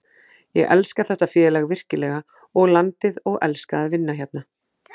Ég elska þetta félag virkilega og landið og elska að vinna hérna.